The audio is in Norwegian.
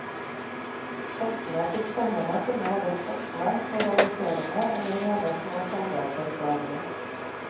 Tekstene til stevene kunne være spottende, moraliserende eller rene, små kjærlighetserklæringer.